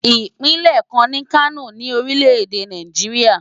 Ìpínlẹ̀ kan ni Kano ní orílẹ̀ èdè Nàìjíríà.